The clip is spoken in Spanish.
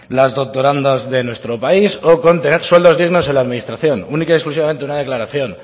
las doctorando de nuestro país o con tener sueldos dignos en la administración única y exclusivamente una declaración